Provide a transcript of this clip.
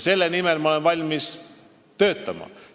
Selle nimel olen ma valmis töötama.